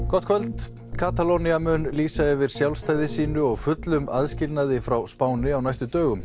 gott kvöld Katalónía mun lýsa yfir sjálfstæði sínu og fullum aðskilnaði frá Spáni á næstu dögum